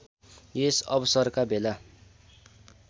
यस अवसरका बेला